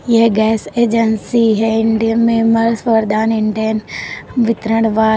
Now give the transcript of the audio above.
यह gas agency है Indane messrs Vardaan Indane वितरण वात --